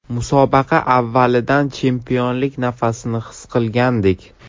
Musobaqa avvalidan chempionlik nafasini his qilgandik.